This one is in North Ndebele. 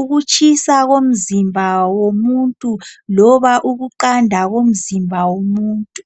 ukutshisa komzimba womuntu loba ukuqanda komzimba womuntu.